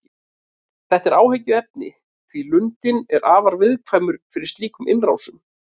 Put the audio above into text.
Þetta er áhyggjuefni því lundinn er afar viðkvæmur fyrir slíkum innrásum.